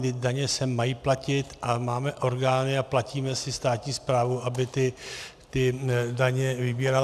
Vždyť daně se mají platit a máme orgány a platíme si státní správu, aby ty daně vybírala.